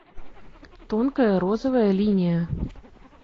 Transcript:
тонкая розовая линия